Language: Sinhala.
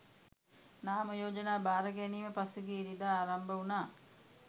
නාම යෝජනා භාර ගැනීම පසුගිය ඉරිදා ආරම්භ වුණා